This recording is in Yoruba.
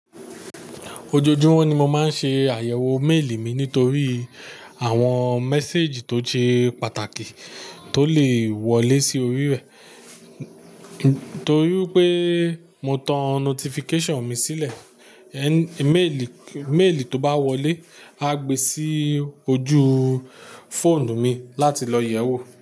Ojoojúmọ́ ni mo máa ń ṣe àyẹ̀wò méèlì mi nítorí àwọn message tó ṣe pàtàkì tó lè wọlé sí orí rẹ̀. Torí pé mo tan notification mi sílẹ̀, e-mail tó bá wọlé á gbe sí ojú fóònù mi láti lọ yẹ̀wò.